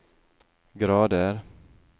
grader